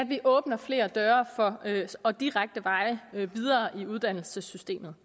vi åbner flere døre og direkte veje videre i uddannelsessystemet